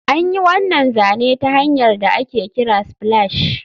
An yi wannan zane ta hanyar da ake kira splash